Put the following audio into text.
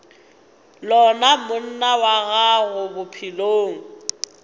lona monna wa gago bophelong